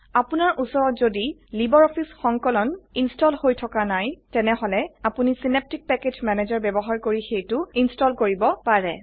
আপনাৰ উচৰত যদি লাইব্ৰঅফিছ সংকলন ইনস্টল হৈ থকা নাই তেনেহলে আপোনি চিনেপ্টিক পেকেজ মেনেজাৰ ব্যবহাৰ কৰি সেইটো ইনস্টল কৰিব পাৰে